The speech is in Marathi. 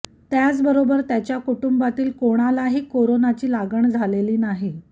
त्याचबरोबर त्याच्या कुटुंबातील कोणालाही कोरोनाची लागण झालेली नाही